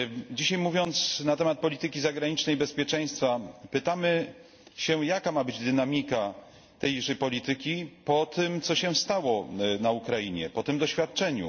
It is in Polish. Dzisiaj, mówiąc na temat polityki zagranicznej i bezpieczeństwa, pytamy się, jaka ma być dynamika tejże polityki, po tym, co się stało na Ukrainie, po tym doświadczeniu.